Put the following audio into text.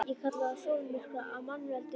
Ég kalla það sólmyrkva af mannavöldum.